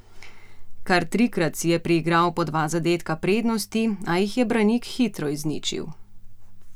Kar trikrat si je priigral po dva zadetka prednosti, a jih je Branik hitro izničil.